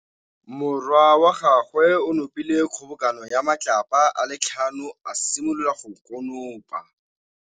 Morwa wa gagwe o nopile kgobokanô ya matlapa a le tlhano, a simolola go konopa.